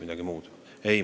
Ei!